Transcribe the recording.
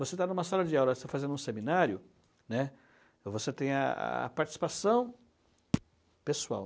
Você está em uma sala de aula, você está fazendo um seminário, você tem a a participação pessoal.